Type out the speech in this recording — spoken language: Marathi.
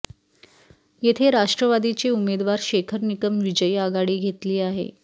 येथे राष्ट्रवादीचे उमेदवार शेखर निकम विजयी आघाडी घेतली आहे